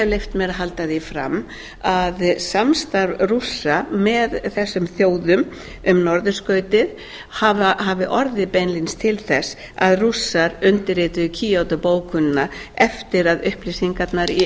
leyft mér að halda því fram að samstarf rússa með þessum þjóðum um norðurskautið hafi orðið beinlínis til þess að rússar undirrituðu kýótó bókunina eftir að upplýsingarnar í